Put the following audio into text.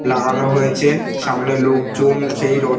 লাগানো হয়েছে সামনে লোকজন সেই--